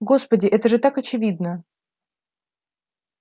господи это же так очевидно